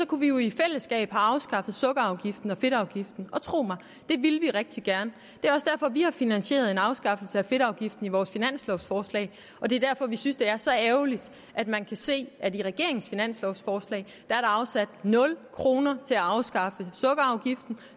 kunne vi jo i fællesskab have afskaffet sukkerafgiften og fedtafgiften og tro mig det ville vi rigtig gerne det er også derfor vi har finansieret en afskaffelse af fedtafgiften i vores finanslovforslag og det er derfor vi synes det er så ærgerligt at man kan se at der i regeringens finanslovforslag er afsat nul kroner til at afskaffe sukkerafgiften og